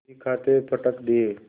बहीखाते पटक दिये